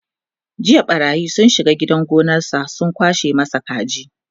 jiya ɓarayi sun shiga gidan gonansa sun kwashe masa kaji